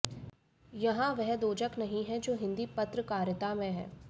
यहां वह दोजख नहीं है जो हिंदी पत्रकारिता में है